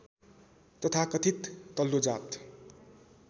तथाकथित तल्लो जात